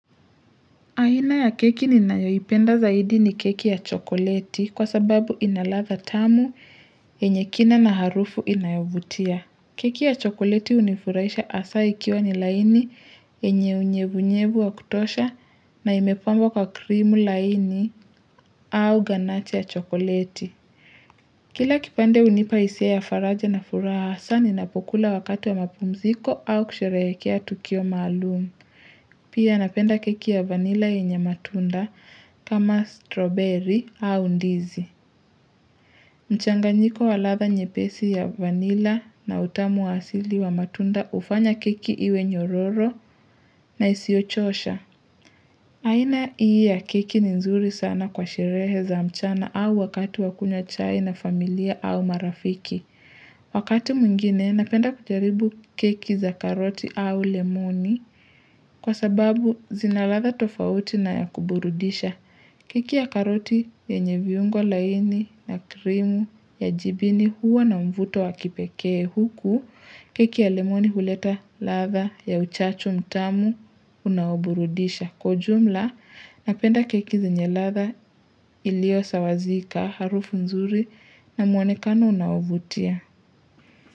Aina ya keki ninayoyipenda zaidi ni keki ya chokoleti kwa sababu ina ladha tamu yenye kina na harufu inayo vutia. Keki ya chokoleti hunifuraisha asa ikiwa ni laini yenye unyevunyevu wa kutosha na imepangwa kwa krimu laini au ganache ya chokoleti. Kila kipande hunipa hisia ya faraja na furaha asa ninapokula wakatu wa mapumziko au kusherehekea tukio maalumu. Pia napenda keki ya vanila yenye matunda kama strawberry au ndizi. Mchanganyiko wa ladha nyepesi ya vanila na utamu asili wa matunda hufanya keki iwe nyororo na isio chosha. Aina iya keki ni nzuri sana kwa sherehe za mchana au wakati wakunya chai na familia au marafiki. Wakati mwingine napenda kujaribu keki za karoti au lemoni. Kwa sababu zina ladha tofauti na ya kuburudisha. Keki ya karoti yenye viungo laini na krimu ya jibini huwa na mvuto wa kipekee huku. Keki ya lemoni huleta latha ya uchachu mtamu unaoburudisha. Kwa ujumla napenda keki zenye ladha iliyo sawa zika harufu mzuri na muonekano unaovutia.